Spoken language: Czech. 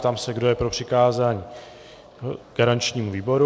Ptám se, kdo je pro přikázání garančnímu výboru.